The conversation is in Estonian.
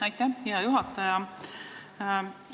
Aitäh, hea juhataja!